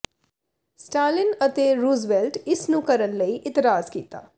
Stalin ਅਤੇ Roosevelt ਇਸ ਨੂੰ ਕਰਨ ਲਈ ਇਤਰਾਜ਼ ਕੀਤਾ